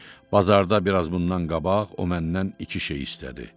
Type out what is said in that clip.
Bazarda biraz bundan qabaq o məndən iki şey istədi.